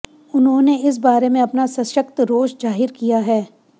उन्होंने इस बारे अपना सशक्त रोष जाहिर किया है